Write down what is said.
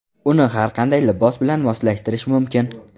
Uni har qanday libos bilan moslashtirish mumkin.